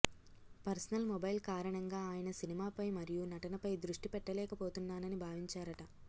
personal mobile కారణంగా ఆయన సినిమాపై మరియు నటనపై దృష్టి పెట్టలేకపోతున్నాని భావించారట